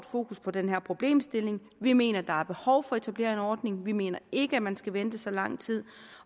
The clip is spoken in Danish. fokus på den her problemstilling vi mener der er behov for at etablere en ordning vi mener ikke man skal vente i så lang tid